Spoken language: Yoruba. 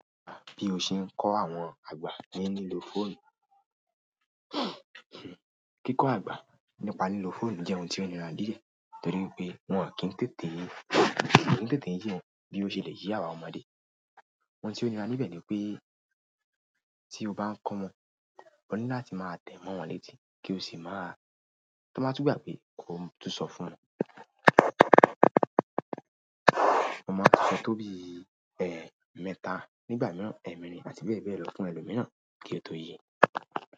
Bí o ṣe ń kọ́ àwọn àgbà ní lílo fóònù. Kíkọ́ àgbà nípa lílo fóònù jẹ́ ohun tí ó niran ní díẹ̀ torí pé wọ́n à kí ń tètè yí, wọ́n ò kí ń tètè yí bí ó ṣe le yí àwa ọmọdé. Ohun tí ó nira níbẹ̀ ni pé tí o bá ń kọ́ wọn, o ní láti máa tẹ̀ mọ́ wọn létí kí o sì máa, kí wọ́n má tú gbàgbé kò tún sọ fún wọn. Ó máa túbọ̀ tó bí, ẹ́, mẹ́ta nígbà mìíràn ẹ̀mẹ́rin àti bẹ́ẹ̀ bẹ́ẹ̀ lọ fún ẹlòmíràn kí ó tó yé.